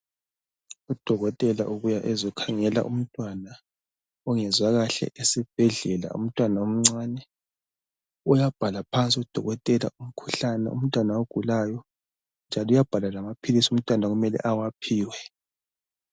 Udokotela ubuya ezokhangela umntwana ongezwa kahle esibhedlela, umntwana omncane uyabhala phansi udokotela umkhuhlane umntwana awugulayo njalo uyabhala lamaphilisi umntwana okumele awaphiwe.